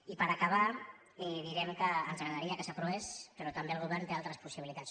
i per acabar direm que ens agradaria que s’aprovés però també el govern té altres possibilitats